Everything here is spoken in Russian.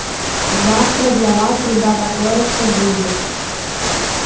завтра для вас ребята кое-что будет